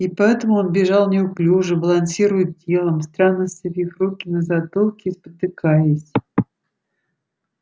и поэтому он бежал неуклюже балансируя телом странно сцепив руки на затылке и спотыкаясь